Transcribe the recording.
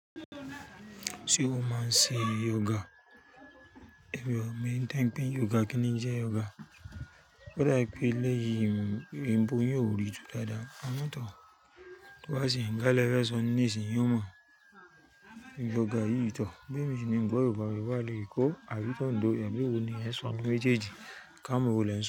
Ṣé o máa ń ṣe yoga? Èèyàn mi ń tẹ̀pé yoga kì í ní jẹ́ yoga. Ó dà pé eléyìí, ìbò yóò rì ju dáadáa pámọ́ tán. Wá sì ń gálẹ́ fẹ́ sọnú nísìyí mọ̀. Yoga yìí tọ̀, bí èmi sì ń gbọ́ èrò bá mi wà lórí ikọ́ àbí tọ́ ń dùn ọ, ẹ̀gbẹ́ wo ni ẹ sọnú pé jẹ́dìí, ká mọ́ wò lé sọnú.